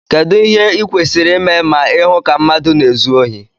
kedu ìhè ịkwésiri ịmé ma ịhụ ka mmadu na-ézu ohi?